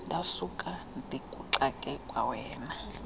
ndakusuka ndikuxake kwawena